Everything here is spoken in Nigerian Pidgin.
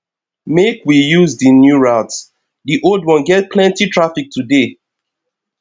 make we use di new route di old one get plenty traffic today